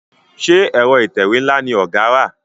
Ṣe Ẹ̀rọ ìtẹ̀wé nla ní ọgá rà?